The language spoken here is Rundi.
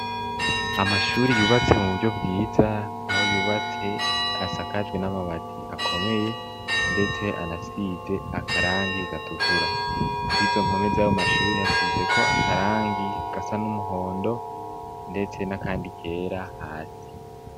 amashuri yubatse mu buryo bwiza aho yubatse asakaje n'amabati akomeye ndetse anasize akarangi gatukura kwizo mpome zabo mashuri asize ko akarangi gasa n'umuhondo ndetse n'akandi kera hasi